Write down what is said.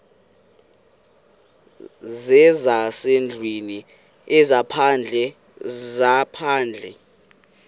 zezasendlwini ezaphandle zezaphandle